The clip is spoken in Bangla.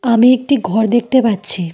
আমি একটি ঘর দেখতে পাচ্ছি।